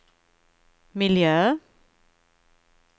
miljö